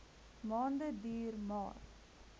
maande duur maar